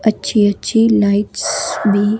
अच्छी-अच्छी लाइट्स भी--